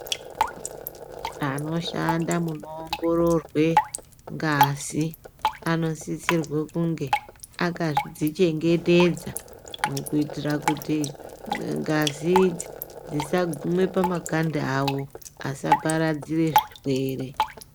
Anoshanda munoongororwe ngazi, anosisirwe kunge akadzichengetedza ,kuitira kuti ngazi idzi dzisagume pamakanda awo, asaparadzire zvirwere.